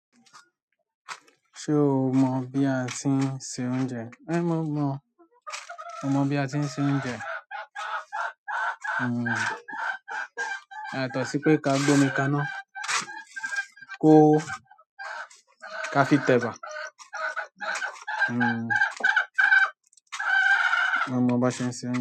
Ṣé o mọ bí a ti ń se oúnjẹ? É mo mọ, mo mọ bí a ti ń se oúnjẹ. Yàtọ̀ sí pé ká gbé omi kaná ko ho ká fi tẹ̀bà. Mo mọ baṣe ń ṣe oúnjẹ.